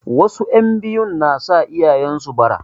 Wasu 'yan biyun na sa iyayen su bara.